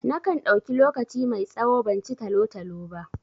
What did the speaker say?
Na kan ɗauki lokaci mai tsawo ban ci talo-talo ba.